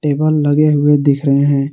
Table लगे हुए दिख रहे हैं।